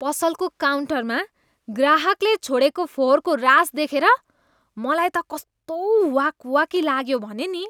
पसलको काउन्टरमा ग्राहकले छोडेको फोहोरको रास देखेर मलाई त कस्तो वाक् वाकी लाग्यो भने नि।